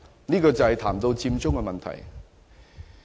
這裏談到的是"佔中"問題。